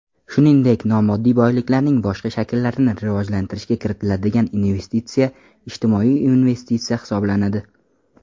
shuningdek nomoddiy boyliklarning boshqa shakllarini rivojlantirishga kiritiladigan investitsiya ijtimoiy investitsiya hisoblanadi.